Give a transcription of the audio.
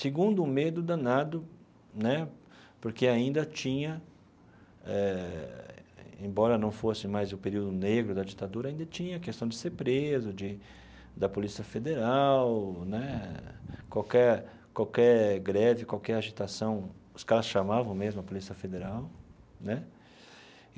Segundo, o medo danado, né porque ainda tinha eh, embora não fosse mais o período negro da ditadura, ainda tinha a questão de ser preso, de da Polícia Federal né, qualquer qualquer greve, qualquer agitação, os caras chamavam mesmo a Polícia Federal né.